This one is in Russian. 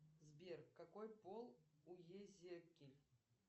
сбер какой пол уезики